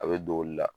A bɛ don olu la